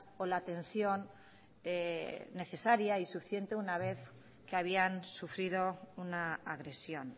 o la atención necesaria y suficiente una vez que habían sufrido una agresión